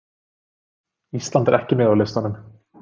Ísland er ekki með á listanum